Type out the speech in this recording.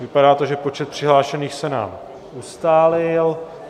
Vypadá to, že počet přihlášených se nám ustálil.